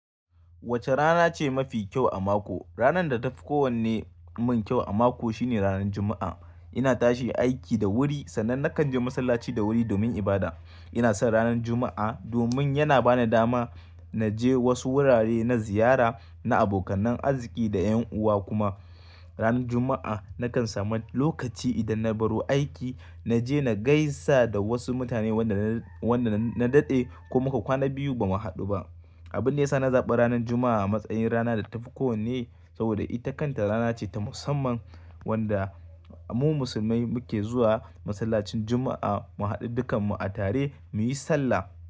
Wace rana ce mafi kyau a mako? Ranar da ta fi kowanne min kyau a mako shine ranar Juma'a. Ina tashi aiki da wuri sannan nakan je masallaci da wuri domin ibada. Ina son ranar Juma'a domin yana bani dama na je wasu wurare na ziyara, na abokanan arziqi da ƴan'uwa kuma ranar Juma'a nakan samu lokaci idan na baro aiki, na je na gaisa da wasu mutane, wanda na daɗe ko muka kwana biyu ba mu haɗu ba. Abin da ya sa na zaɓa ranar Juma'a a matsayin rana da ta fi kowanne saboda ita kanta rana ce ta musamman wanda mu musulmai muke zuwa masallacin Juma'a mu haɗu dukkan mu a tare muyi sallah.